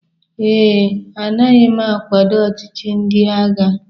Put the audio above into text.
ee, anaghị m akwado ọchịchị ndị agha